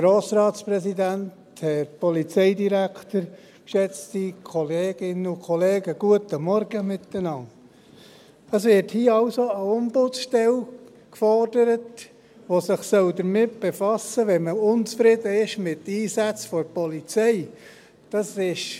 Es wird hier also eine Ombudsstelle gefordert, die sich damit befassen soll, wenn man mit den Einsätzen der Polizei unzufrieden ist.